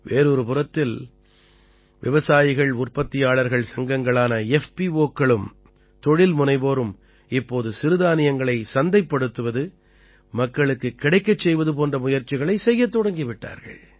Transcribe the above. வேறொரு புறத்தில் விவசாயிகள்உற்பத்தியாளர்கள் சங்கங்களான FPOக்களும் தொழில் முனைவோரும் இப்போது சிறுதானியங்களைச் சந்தைப்படுத்துவது மக்களுக்குக் கிடைக்கச் செய்வது போன்ற முயற்சிகளைச் செய்யத் தொடங்கி விட்டார்கள்